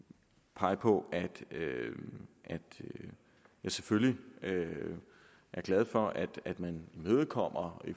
pege på at jeg selvfølgelig er glad for at man imødekommer